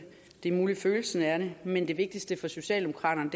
det er muligt føles sådan men det vigtigste for socialdemokraterne